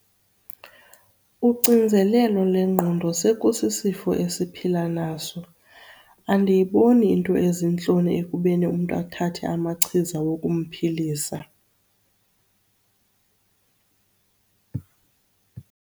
Ucinzelelo lengqondo sekusisifo esiphila naso. Andiyiboni into eziintloni ekubeni umntu athathe amachiza wokumphilisa.